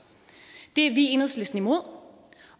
det er vi i enhedslisten imod